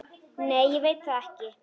Nei ég veit það ekki.